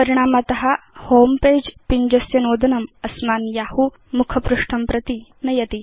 परिणामत homepage पिञ्जस्य नोदनम् अस्मान् यहू मुखपृष्ठं प्रति नयति